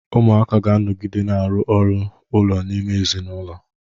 Ụmụaka ga-anọgide na-arụ ọrụ ụlọ n'ime ezinụlọ.